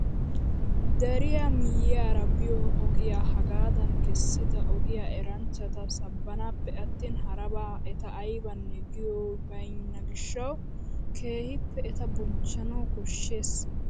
Deriyaa miyiyaara biyoo ogiyaa hagaadan kessida ogiyaa eranchchata sabbanaappe attin harabaa eta aybanne giyoy baynna gishshawu keehippe eta bochchanawu koshshees!